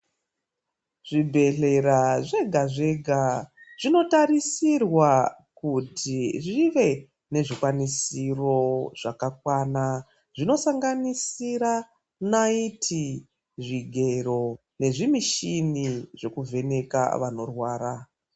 Zvibhedhlera zvega zvega zvinotarisirwa kuti zvive nezvikwanisiro zvakakwana, zvinosanganisira naiti, zvigero nezvimichini zvokuvheneka vanorwara.